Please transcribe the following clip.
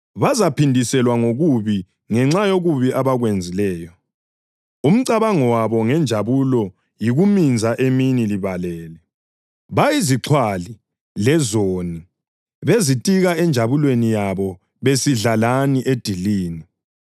Bazaphindiselwa ngokubi ngenxa yokubi abakwenzileyo. Umcabango wabo ngenjabulo yikuminza emini libalele. Bayizixhwali lezoni, bezitika enjabulweni yabo besidla lani edilini.